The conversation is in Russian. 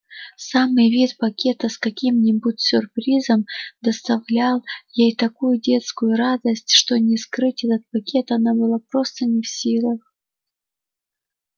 самый вид пакета с каким-нибудь сюрпризом доставлял ей такую детскую радость что не скрыть этот пакет она была просто не в силах